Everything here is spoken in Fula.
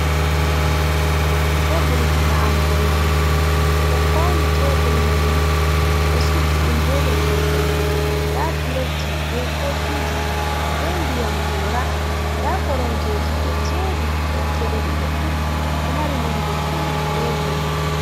Tebul nyamugo nyamdu ɓe ɗo fauni tebul maini ɓe ɗo suddi ɗum ɓe leppol danejum, nda plet ji be kofi ji ɓe ndiyam gora, nda koromje ji ɗo jeri wakkere ɗiɗi fu ɗo mari nonde pink be bulu,